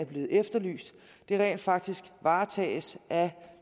blevet efterlyst rent faktisk varetages af